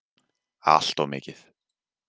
Alltof mikið.